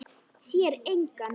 Sér engan.